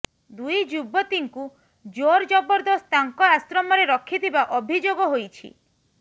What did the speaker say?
ଦୁଇ ଯୁବତୀଙ୍କୁ ଜୋର୍ ଜବରଦସ୍ତ ତାଙ୍କ ଆଶ୍ରମରେ ରଖିଥିବା ଅଭିଯୋଗ ହୋଇଛି